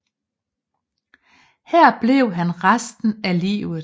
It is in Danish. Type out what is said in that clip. Her blev han resten af livet